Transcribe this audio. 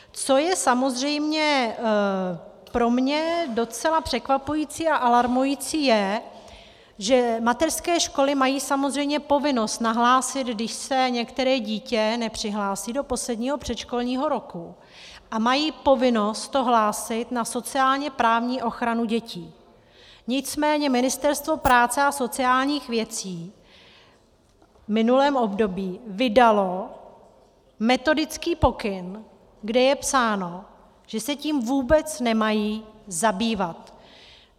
Co je samozřejmě pro mě docela překvapující a alarmující, je, že mateřské školy mají samozřejmě povinnost nahlásit, když se některé dítě nepřihlásí do posledního, předškolního roku, a mají povinnost to hlásit na sociálně-právní ochranu dětí, nicméně Ministerstvo práce a sociálních věcí v minulém období vydalo metodický pokyn, kde je psáno, že se tím vůbec nemají zabývat.